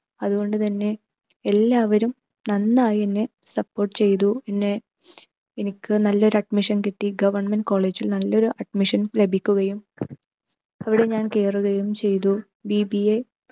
അതുകൊണ്ട് തന്നെ എല്ലാവരും നന്നായി എന്നെ support ചെയ്തു. പിന്നെ എനിക്ക് നല്ലൊരു admission കിട്ടി. government college ൽ നല്ലൊരു admission ലഭിക്കുകയും അവിടെ ഞാൻ കേറുകയും ചെയ്തു. BBA